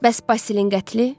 Bəs Basilin qətli?